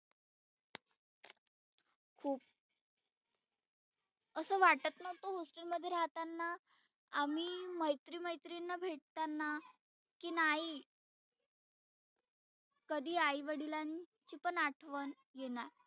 खुप असं वाटत नव्हतं hostel मध्ये राहताना आम्ही मैत्री मैत्रीनींना भेटतांना की नाही कधी आई वडिलांची पण आठवन येणार.